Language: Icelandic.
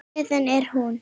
Hvaðan er hún?